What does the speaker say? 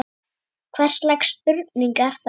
Hvers lags spurning er þetta?